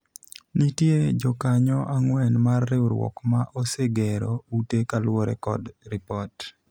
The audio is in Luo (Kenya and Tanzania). nitie jokanyo ang'wen mar riwruok ma osegero ute kaluwore kod ripot